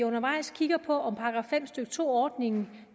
undervejs kigger på om § fem stykke to ordningen